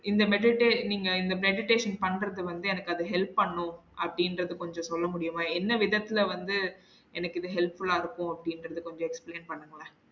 இந்த medita~ நீங்க இந்த meditation பண்றது வந்து எனக்கு அது help பண்ணும் அப்டிங்குரத கொஞ்சம் சொல்ல முடியுமா? என்ன விதத்துல வந்து எனக்கு இது helpful ஆ இருக்கும் அப்டிங்குரத கொஞ்சம் explain பண்ணுங்களேன்